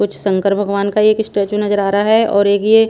कुछ शंकर भगवान का एक स्टैचू नजर आ रहा है और एक ये --